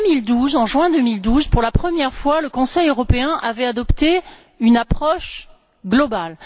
En juin 2012, pour la première fois, le Conseil européen avait adopté une approche globale.